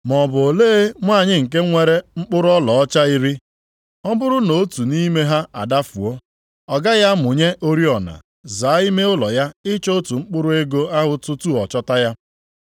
“Maọbụ olee nwanyị nke nwere mkpụrụ ọlaọcha iri, ọ bụrụ nʼotu nʼime ha adafuo. Ọ gaghị amụnye oriọna, zaa ime ụlọ ya ịchọ otu mkpụrụ ego ahụ tutu ọ chọta ya?